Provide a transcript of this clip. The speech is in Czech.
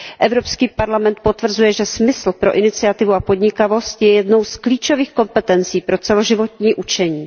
Evropský parlament potvrzuje, že smysl pro iniciativu a podnikavost je jednou z klíčových kompetencí pro celoživotní učení.